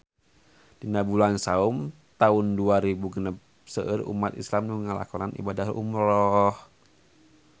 Dina bulan Saum taun dua rebu genep seueur umat islam nu ngalakonan ibadah umrah